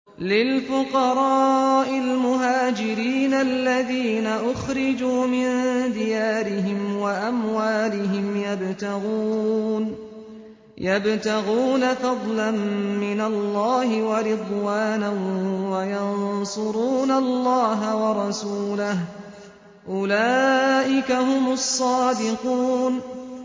لِلْفُقَرَاءِ الْمُهَاجِرِينَ الَّذِينَ أُخْرِجُوا مِن دِيَارِهِمْ وَأَمْوَالِهِمْ يَبْتَغُونَ فَضْلًا مِّنَ اللَّهِ وَرِضْوَانًا وَيَنصُرُونَ اللَّهَ وَرَسُولَهُ ۚ أُولَٰئِكَ هُمُ الصَّادِقُونَ